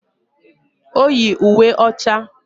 O yi uwe ọcha